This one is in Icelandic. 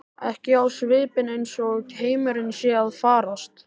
Ekki á svipinn eins og heimurinn sé að farast.